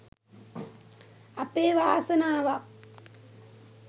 අපේ වාසනාවක්